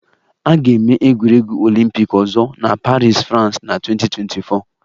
A ga-eme egwuregwu Olympic ọzọ na Paris, France na 2024